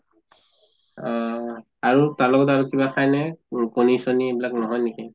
অহ আৰু তাৰ লগত আৰু কিবা খায় নে? ৰু কণী চনী এইবিলাক নহয় নেকি?